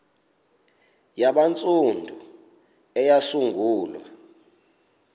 hare yabantsundu eyasungulwa